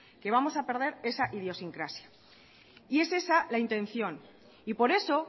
que vamos a perder esa idiosincrasia y es esa la intención y por eso